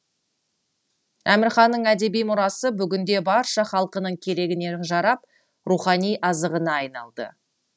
әмірханның әдеби мұрасы бүгінде барша халқының керегіне жарап рухани азығына айналды